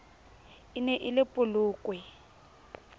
e ne e le polokwe